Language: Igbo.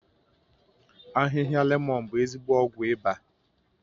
Ahịhịa lemọ̀n bụ ezigbo ọgwụ ịba